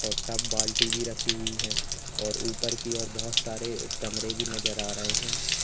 और टब बाल्टी भी रखी हुई है और ऊपर की ओर बहोत सारे कमरे भी नजर आ रहे हैं।